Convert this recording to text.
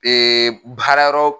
baara yɔrɔ